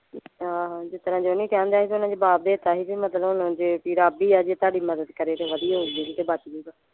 ਆਹੋ ਜਿਸ ਤਰ੍ਹਾਂ ਜੋਨੀ ਕਹਿਣ ਡਯਾ ਸੀ ਸਾਨੂੰ ਜਵਾਬ ਦੇ ਤਾ ਸੀ ਬੀ ਮਤਲਬ ਹੁਣ ਜੇ ਰੱਬ ਹੀ ਆ ਜੇ ਤੁਹਾਡੀ ਮੱਦਦ ਕਰੇ ਤੇ ਵਧੀਆ ਹੋਉਗਾ ਤੇ ਬੱਚ ਜਾਊਗਾ